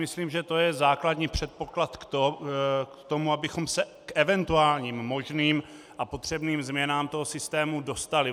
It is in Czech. Myslím, že to je základní předpoklad k tomu, abychom se k eventuálním možným a potřebným změnám toho systému dostali.